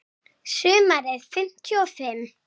Sumarið fimmtíu og fimm.